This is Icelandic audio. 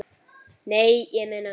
Nei, ég meina.